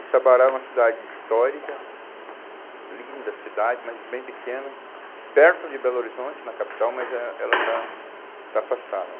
E Sabará é uma cidade histórica, linda cidade, mas bem pequena, perto de Belo Horizonte, na capital, mas é, ela está, está afastada.